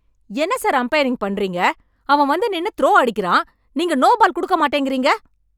என்ன sir umpiring பண்ணுறீங்க? அவன் வந்து நின்னு த்ரோ அடிக்கிறான். நீங்க நோ பால் குடுக்க மாட்டேங்கிறீங்க!